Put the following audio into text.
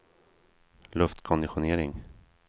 luftkonditionering